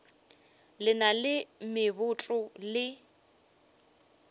le na le meboto le